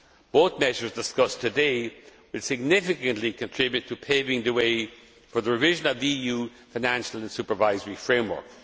Both measures discussed today will significantly contribute to paving the way for the revision of the EU financial and supervisory framework.